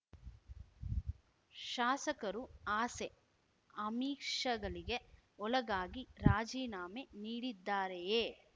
ಶಾಸಕರು ಆಸೆ ಆಮಿಷಗಳಿಗೆ ಒಳಗಾಗಿ ರಾಜೀನಾಮೆ ನೀಡಿದ್ದಾರೆಯೇ